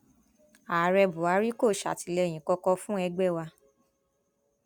ààrẹ buhari kò sàtìlẹyìn kankan fún ẹgbẹ wa